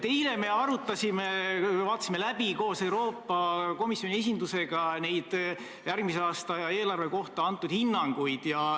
Eile me vaatasime läbi koos Euroopa Komisjoni esindusega järgmise aasta eelarve kohta antud hinnanguid.